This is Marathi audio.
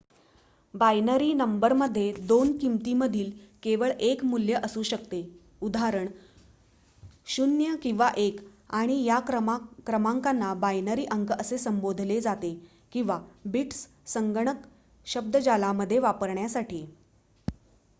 बायनरी नंबर मध्ये 2 किमतीमधील केवळ 1 मूल्य असू शकते उदा 0 किंवा 1 आणि या क्रमांकांना बायनरी अंक असे संबोधले जाते किंवा बिट्स संगणक शब्द्जालामध्ये वापरण्यासाठी